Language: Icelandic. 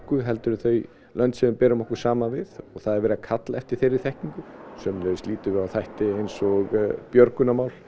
heldur en þau lönd sem við berum okkur saman við og það er verið að kalla eftir þeirri þekkingu sömuleiðis lítum við á þætti eins og björgunarmál